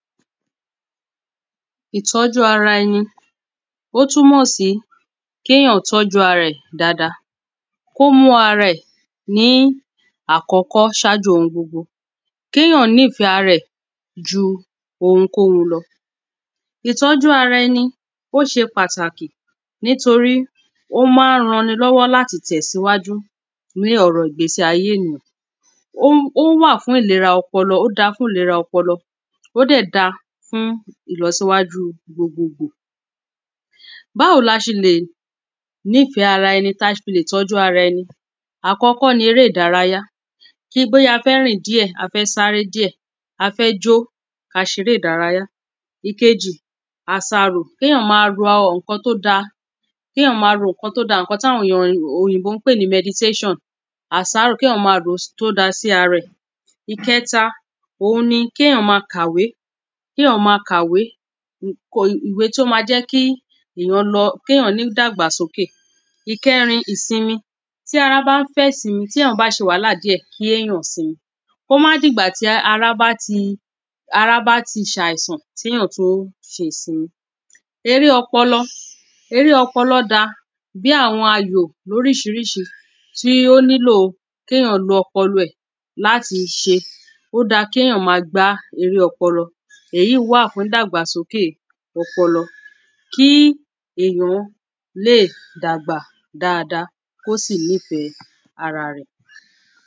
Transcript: ̀Ìtọ́jú ara ẹni Ó túmọ̀ sí kí èyàn tọ́jú ara ẹ̀ dáadáa Kí ó mú ara ẹ̀ ní àkọ́kọ́ ṣájú oun gbogbo Kí èyàn nífẹ̀ ara ẹ̀ ju ounkóun lọ Ìtọ́jú ara ẹni ó ṣe pàtàkì nítorí ó ma ń ran ẹni lọ́wọ́ láti tẹ̀síwájú ní ọ̀rọ̀ ìgbésí ayé ènìyàn Ó wà fún ìlera ọpọlọ Ó da fún ìlera ọpọlọ Ó dẹ̀ da fún ìlọsíwájú gbogboogbò Báwo ni a ṣe lè nífẹ̀ ara ẹni tí a ṣe lè tọ́jú ara ẹni Àkọ́kọ́ ni eré ìdárayá Bóyá a fẹ́ rìn díẹ̀ a fẹ́ sáré díẹ̀ a fẹ́ jó kí a ṣeré ìdárayá Ìkejì Àsàrò Kí èyàn ma ro àwọn nǹkan tí ó da Kí èyàn ma ro nǹkan tí ó da nǹkan tí àwọn òyìnbó ń pè ní meditation àsàrò kí èyàn máa ro tí ó da sí ara ẹ̀ Ìkẹta òun ni kí èyàn máa kàwé Kí èyàn máa kàwé ìwé tí ó ma jẹ́ kí èyàn lọ kí èyàn ní ìdàgbàsókè Ìkẹrin ìsinmi Tí ara bá ń fẹ́ ìsinmi tí èyàn ba ṣe wàhálà díẹ̀ kí èyàn sinmi Kí ó má di ìgbà tí ara bá ti ara bá ti ṣe àìsàn kí èyàn tó ṣe ìsinmi Eré ọpọlọ Eré ọpọlọ da bíi àwọn ayò ní orísirísi tí ó nílò kí èyàn lo ọpọlọ ẹ̀ láti ṣe Ó da kí èyàn máa gbá eré ọpọlọ Èyí wà fún ìdàgbàsókè ọpọlọ Kí èyàn lè dàgbà dáadáa kí ó sì nífẹ̀ ara rẹ̀